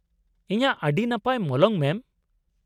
ᱤᱧᱟᱹᱜ ᱟᱹᱰᱤ ᱱᱟᱯᱟᱭ ᱢᱚᱞᱚᱝ ᱢᱮᱢ ᱾